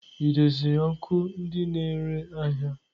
Ị doziri ọkụ ndị na-ere ahịa?